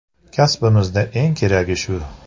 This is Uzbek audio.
Kasbimizda eng keragi shu.